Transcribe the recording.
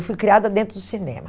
Eu fui criada dentro do cinema.